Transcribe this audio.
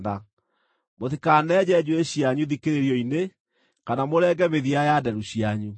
“ ‘Mũtikanenje njuĩrĩ cianyu thikĩrĩrio-inĩ kana mũrenge mĩthia ya nderu cianyu.